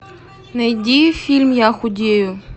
найди фильм я худею